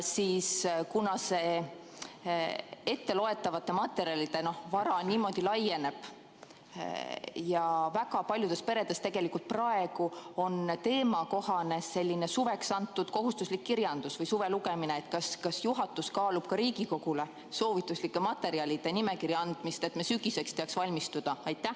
Kuna see etteloetavate materjalide vara laieneb ja väga paljudes peredes praegu on teemakohane suveks antud kohustuslik kirjandus või suvelugemine, siis kas juhatus kaalub ka Riigikogule soovituslike materjalide nimekirja andmist, et me teaks sügiseks valmistuda?